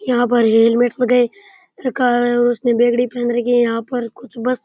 यहाँ पे हेलमेट वगेरा रखा है यहाँ पे उसने बिगड़ी पहन राखी हैं यहाँ पर बस --